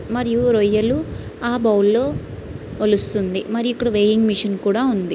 మరియు రొయ్యలు ఆ బౌల్లో వలుస్తుంది మరి ఇక్కడ వేయింగ్ మిషన్ కూడా ఉంది.